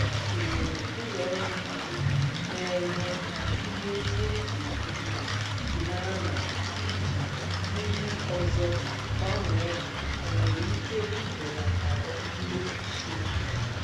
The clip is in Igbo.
Ha tụlere ulọọrụ ndị na-enye ha ihe ndị e ji ebi ndụ iji mara ma iji ndị ọzọ gbanwee ha o nwere ike ibelatara mmefu ego.